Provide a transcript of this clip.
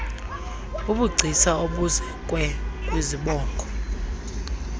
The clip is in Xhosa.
bubugcisa obuzekwe kwizibongo